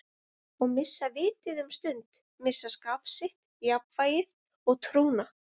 Og missa vitið um stund, missa skap sitt, jafnvægið og trúna.